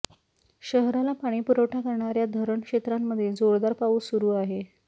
शहराला पाणीपुरवठा करणाऱ्या धरण क्षेत्रांमध्ये जोरदार पाऊस सुरु आहे